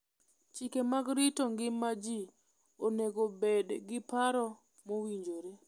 Chike mag rito ngima ji onego obed gi paro mowinjore.